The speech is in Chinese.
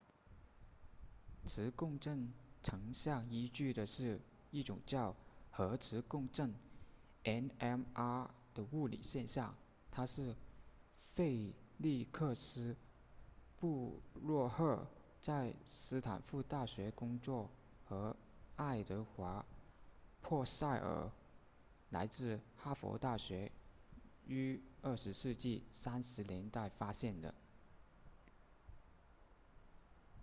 磁共振成像依据的是一种叫核磁共振 nmr 的物理现象它是费利克斯布洛赫在斯坦福大学工作和爱德华珀塞耳来自哈佛大学于20世纪30年代发现的